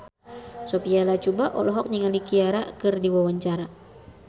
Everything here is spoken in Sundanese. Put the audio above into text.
Sophia Latjuba olohok ningali Ciara keur diwawancara